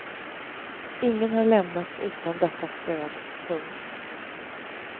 Ingen har lämnats utan detta stöd. punkt